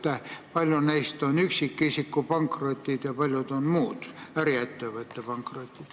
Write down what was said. Kui paljud neist on üksikisiku pankrotid ja kui paljud muud, äriettevõtte pankrotid?